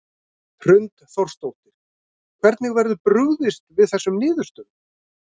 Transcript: Hrund Þórsdóttir: Hvernig verður brugðist við þessum niðurstöðum?